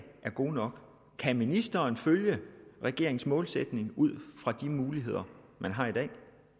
er gode nok kan ministeren følge regeringens målsætning ud fra de muligheder man har i dag